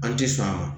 An ti sa